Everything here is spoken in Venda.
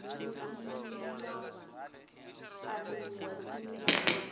musi yo aniwa tsini na